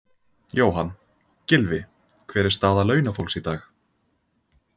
Jóhann: Gylfi, hver er staða launafólks í dag?